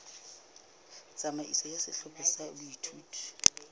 tsamaiso ya sehlopha sa boithuto